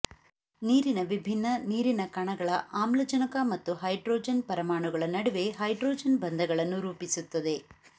ನೀರಿನ ವಿಭಿನ್ನ ನೀರಿನ ಕಣಗಳ ಆಮ್ಲಜನಕ ಮತ್ತು ಹೈಡ್ರೋಜನ್ ಪರಮಾಣುಗಳ ನಡುವೆ ಹೈಡ್ರೋಜನ್ ಬಂಧಗಳನ್ನು ರೂಪಿಸುತ್ತದೆ